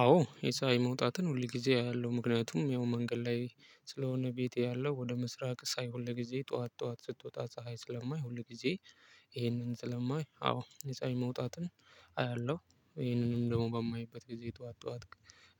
አዎ የፀሀይን መውጣትን ሁል ጊዜ አያለው ምክንያቱም ያው መንገድ ላይ ስለሆነ ቤቴ ያለው ወደ ምስራቅ ሳይሆን ለጊዜ ጠዋት ጠዋት ስትወጣ ፀሀይ ስለማይ ሁል ጊዜ። ይሄንን ስለማይ አዎ የፀሀይ መውጣትን አያለሁ ይሄንንም ደግሞ በማይበት ጊዜ ጠዋት ጠዋት።